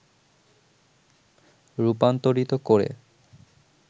রূপান্তরিত করে